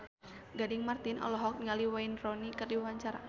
Gading Marten olohok ningali Wayne Rooney keur diwawancara